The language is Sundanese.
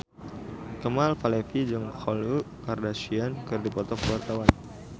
Kemal Palevi jeung Khloe Kardashian keur dipoto ku wartawan